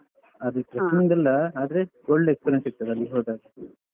ಅದ್ಕೆ ಆದ್ರೆ ಒಳ್ಳೆ experience ಸಿಕ್ತದೆ ಅಲ್ಲಿ ಹೋದಾಗ ,